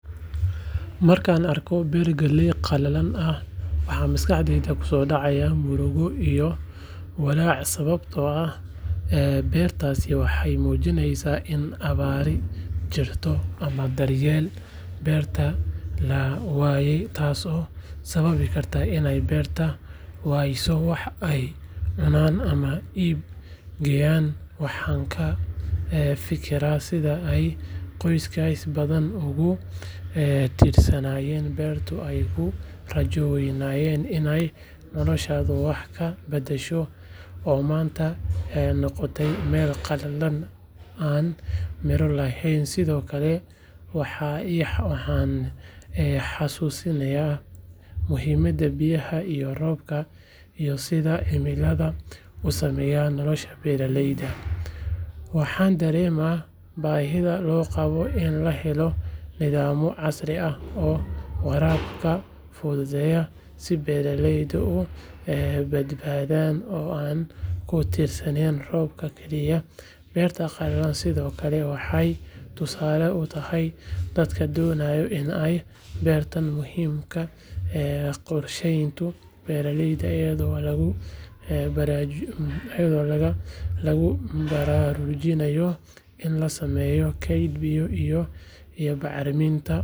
Markaan arko beer galley qallalan ah waxaa maskaxdayda kusoo dhacaya murugo iyo walaac sababtoo ah beertaasi waxay muujinaysaa in abaari jirto ama daryeelkii beerta la waayey taasoo sababi karta in beeraleydu waayaan wax ay cunaan ama iib geeyaan waxaan ka fikiraa sida ay qoysas badan uga tiiraanyoonayaan beertii ay ku rajo weynayeen inay noloshooda wax ka badasho oo maanta noqotay meel qalalan aan midho lahayn sidoo kale waxay i xasuusisaa muhiimada biyaha iyo roobka iyo sida cimiladu u saamayso nolosha beeraleyda waxaan dareemaa baahida loo qabo in la helo nidaamyo casri ah oo waraabka fududeeya si beeraleyda u badbaadaan oo aanay ku tiirsanaan roobka keliya beerta qalalan sidoo kale waxay tusaale u tahay dadka doonaya in ay bartaan muhiimada qorshaynta beeraleyda iyadoo lagu baraarujinayo in la sameeyo keyd biyo iyo bacriminta.